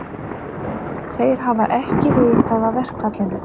Þeir hafi ekki vitað af verkfallinu